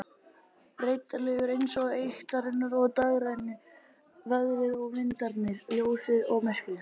Breytilegur eins og eyktirnar og dægrin, veðrið og vindarnir, ljósið og myrkrið.